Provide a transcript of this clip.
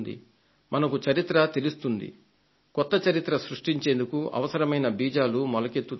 మనకు చరిత్ర తెలుస్తుంది కొత్త చరిత్రను సృష్టించేందుకు అవసరమైన బీజాలు మొలకెత్తుతాయి